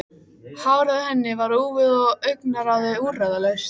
Hárið á henni var úfið og augnaráðið úrræðalaust.